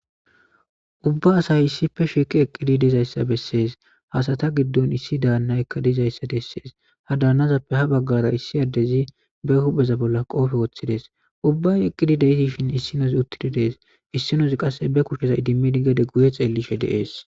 Ubba asayi issippe shiqqi eqqidayisa besses.ha asata giddonni issi danayikka dizayissa besses.ha danazeppe ha bagara issi adezi be huphpheza bolla qofe woththides.ubba eqqidi dishin issinoze uttidi des.issinozzi qasi idimidda qasi guye xeellishshe de'ees